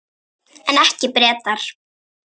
En ekki Bretar.